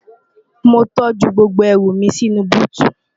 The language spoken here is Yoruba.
mo tọ́jú gbogbo ẹrù mi sínú u búùtù